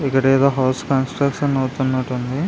ఇక్కడేదో house construction అవుతునట్టు ఉంది.